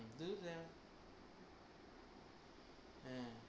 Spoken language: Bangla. হ্যাঁ।